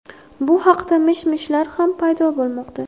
Bu haqda mish-mishlar ham paydo bo‘lmoqda.